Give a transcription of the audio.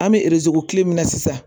An bɛ kilo min na sisan